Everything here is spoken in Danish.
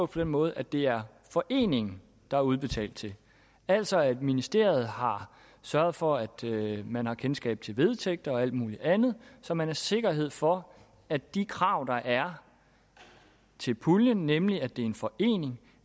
den måde at det er foreningen der er udbetalt til altså at ministeriet har sørget for at man har kendskab til vedtægter og alt muligt andet så man har sikkerhed for at de krav der er til puljen nemlig at det er en forening